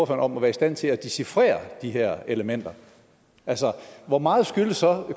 om at være i stand til at dechifrere de her elementer altså hvor meget skyldes så